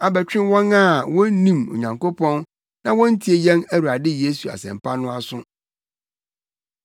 abɛtwe wɔn a wonnim Onyankopɔn na wontie yɛn Awurade Yesu Asɛmpa no aso.